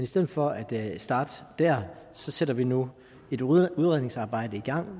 stedet for at starte der sætter vi nu et udredningsarbejde i gang